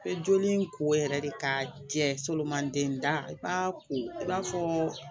I bɛ joli in ko yɛrɛ de k'a jɛ solomanden da i b'a ko i b'a fɔ